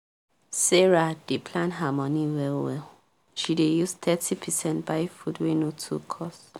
sarah dey plan her money well well she dey use thirty percent buy food wey no too cost